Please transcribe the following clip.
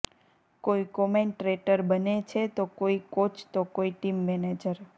કોઈ કોમેન્ટ્રેટર બને છે તો કોઈ કોચ તો કોઈ ટીમ મેનેજર